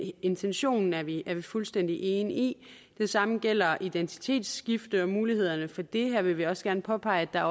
intentionen er vi er vi fuldstændig enige i det samme gælder identitetsskifte og mulighederne for det her vil vi også gerne påpege at der